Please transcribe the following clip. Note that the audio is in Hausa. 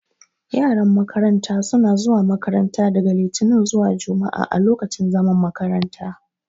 Yaran makaranta sh na zuwa makaranta daga litinin zuwa jumua'a a lokacin zaman makaranta.